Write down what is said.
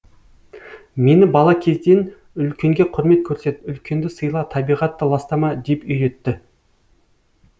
мені бала кезден үлкенге құрмет көрсет үлкенді сыйла табиғатты ластама деп үйретті